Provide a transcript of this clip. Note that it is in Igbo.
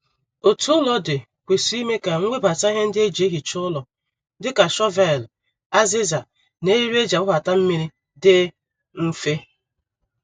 Otu ụlọ dị kwesịrị ime ka nwebata ihe ndi e ji ehicha ụlọ dịka shọvelụ, aziza, na eriri e ji agbabata mmiri dị mfe